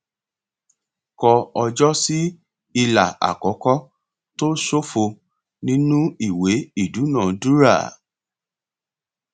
kọ ọjọ sí ilà àkọkọ tó ṣófo nínú ìwé ìdúnadúrà